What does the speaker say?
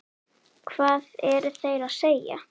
Hvað eru þeir að segja?